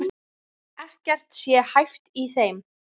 Gangurinn minnir þá dálítið á kú.